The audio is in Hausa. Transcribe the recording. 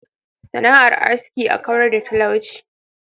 sana'ar aski n kawar da da talauci.